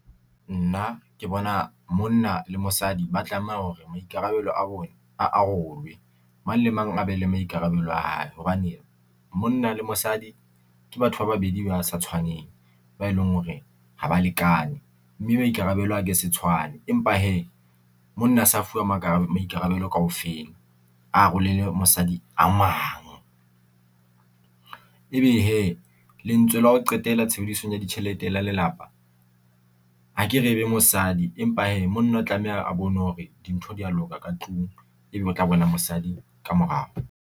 Nna, ke bona monna le mosadi ba tlameha hore maikarabelo a bone a mang le mang a be le maikarabelo a hae, hobane monna le mosadi ke batho ba babedi ba sa tshwaneng ba e leng hore ha ba lekane, mme maikarabelo a ke se tshwane empa hee monna a sa fuwa maikarabelo kaofela a arolele mosadi a mang. Ebe hee lentswe la ho qetela tshebedisong ya ditjhelete la lelapa ha ke re ebe mosadi, empa hee monna o tlameha a bone hore dintho di a loka ka ntlung, ebe o tla bona mosadi ka morao.